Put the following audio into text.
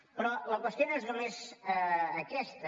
però la qüestió no és només aquesta